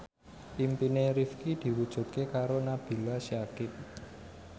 impine Rifqi diwujudke karo Nabila Syakieb